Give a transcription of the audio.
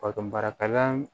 Bakan marakalan